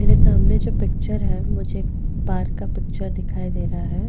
मेरे सामने जो पिक्चर है मुझे पार का पिक्चर दिखाई दे रहा है।